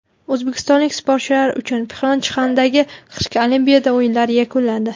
O‘zbekistonlik sportchilar uchun Pxyonchxandagi qishki Olimpiada o‘yinlari yakunlandi.